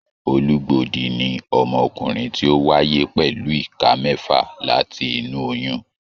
Olugbodi ní ọmọkùnrin tí o wáyé pẹlú ìká kẹfà láti inú oyún.